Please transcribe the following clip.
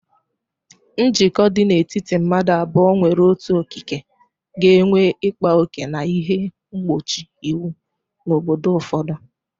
Njikọ dị n'etiti madu abuo nwere otu okike ga-enwe ịkpa oke na ihe mgbochi iwu na obodo ụfọdụ.